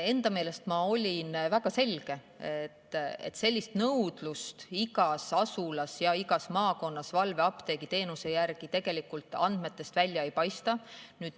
Enda meelest ma ütlesin väga selgelt, et igas asulas ja igas maakonnas sellist nõudlust valveapteegiteenuse järgi tegelikult andmetest välja ei paista.